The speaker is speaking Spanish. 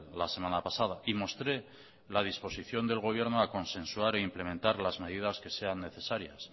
la semana pasada y mostré la disposición del gobierno a consensuar e incrementar las medidas que sean necesarias